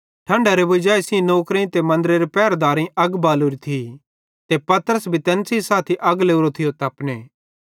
ठंडारे वजाई सेइं नौकरेईं ते मन्दरेरे पहरदारेईं अग बालोरी थी ते पतरस भी तैन सेइं साथी अग लोरो थियो तपने